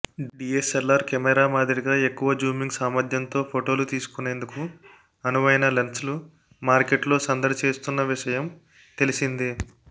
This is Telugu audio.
డిఎస్ఎల్ఆర్ కెమెరా మాదిరిగా ఎక్కువ జూమింగ్ సామర్థ్యంతో ఫొటోలు తీసుకునేందుకు అనువైన లెన్స్లు మార్కెట్లో సందడి చేస్తున్న విషయం తెలిసిందే